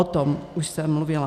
O tom už jsem mluvila.